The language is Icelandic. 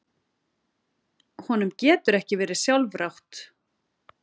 Honum getur ekki verið sjálfrátt.